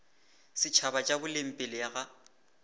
setšhaba tša boleng pele ga